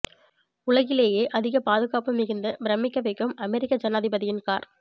உலகிலேயே அதிக பாதுகாப்பு மிகுந்த பிரமிக்க வைக்கும் அமெரிக்க ஜனாதிபதியின் கார்